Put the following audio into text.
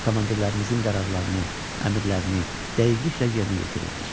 Komandirlərimizin qərarlarını, əmrlərini dəqiqliklə yerinə yetirirdik.